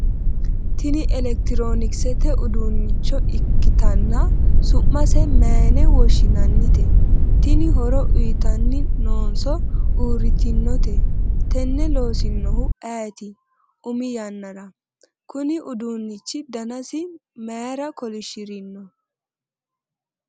tini elekitiroonikisete uduunnicho ikkitanna su'mase mayiine woshshinannite? tini horo uyiitanni noonso uurritinote? tenne loosinohu ayeeti umi yannara? kuni uduunnichi danasi mayiira kolishshirino?